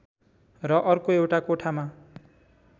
र अर्को एउटा कोठामा